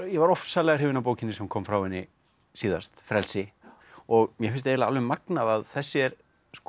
ég var ofsalega hrifinn af bókinni sem kom frá henni síðast frelsi og mér finnst eiginlega alveg magnað að þessi er